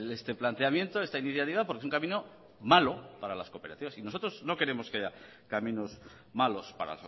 este planteamiento esta iniciativa porque es un camino malo para las cooperativas y nosotros no queremos que haya caminos malos para